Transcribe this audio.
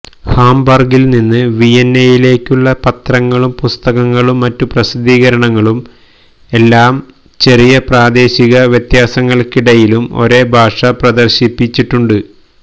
ഹാംബർഗിൽ നിന്ന് വിയന്നയിലേക്കുള്ള പത്രങ്ങളും പുസ്തകങ്ങളും മറ്റു പ്രസിദ്ധീകരണങ്ങളും എല്ലാം ചെറിയ പ്രാദേശിക വ്യത്യാസങ്ങൾക്കിടയിലും ഒരേ ഭാഷ പ്രദർശിപ്പിച്ചിട്ടുണ്ട്